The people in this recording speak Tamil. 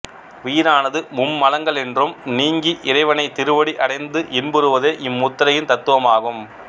உயிரானது மும்மலங்களின்றும் நீங்கி இறைவன் திருவடி அடைந்து இன்புறுவதே இம்முத்திரையின் தத்துவமாகும்